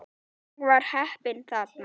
Ég var heppinn þarna